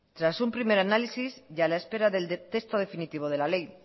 tras un primer análisis y a la espera del texto definitivo de la ley